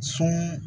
So